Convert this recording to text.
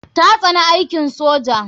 Ta tsani aikin soja.